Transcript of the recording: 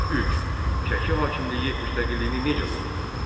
Üç: Şəki hakimliyini müstəqilliyini necə qorudu?